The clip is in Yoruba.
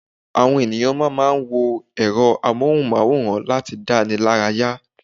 Àwon eniyan mama n wo èro amóhùmaworan lati danilaraya